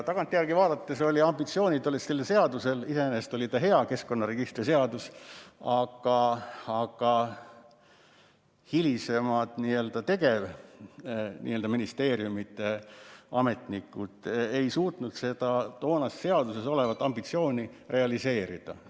Tagantjärgi vaadates olid sellel seadusel ambitsioonid, iseenesest oli see hea seadus, keskkonnaregistri seadus, aga hiljem ministeeriumiametnikud ei suutnud seda seaduses olevat ambitsiooni realiseerida.